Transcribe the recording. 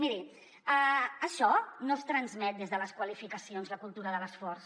miri això no es transmet des de les qualifica·cions la cultura de l’esforç